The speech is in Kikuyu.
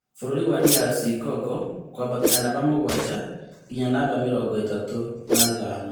Bũrũri wa DR Congo kwambatĩria namba mũgwanja nginya namba mĩrongo ĩtatũ na ithano